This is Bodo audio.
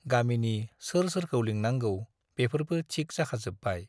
गामिनि सोर सोरखौ लिंनांगौ बेफोरबो थिक जाखाजोब्बाय।